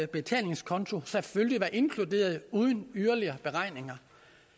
betalingskonto selvfølgelig var inkluderet uden yderligere beregning